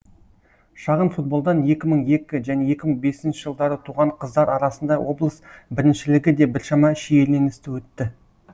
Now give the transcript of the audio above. шағын футболдан екі мың екі және екі мың бесінші жылдары туған қыздар арасында облыс біріншілігі де біршама шиеленісті өтті